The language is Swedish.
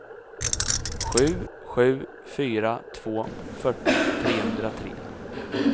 sju sju fyra två fyrtio trehundratre